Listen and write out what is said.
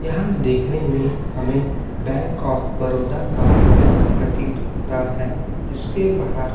यहाँ देखने में हमें बैंक ऑफ़ बड़ौदा का बैंक प्रतीत होता है जिसके बाहर --